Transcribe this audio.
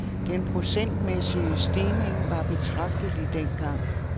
Den procentmæssige stigning var betragtelig dengang.